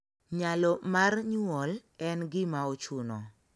Nyalo mar nyuol en gimaochuna